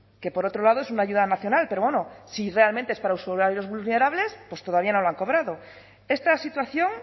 que por otro lado es una ayuda nacional pero bueno si realmente es para usuarios vulnerables pues todavía no lo han cobrado esta situación